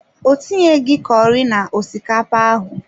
Ọ tinyeghị curi na osikapa ahụ.